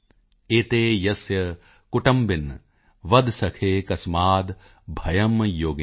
ਏਤੇ ਯੱਸਯ ਕੁਟਿੰਬਨ ਵਦ ਸਖੇ ਕਸਮਾਦ ਭਯੰ ਯੋਗਿਨ॥